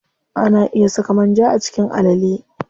Ana iya saka manja a cikin alale.